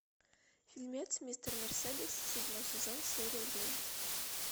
фильмец мистер мерседес седьмой сезон серия девять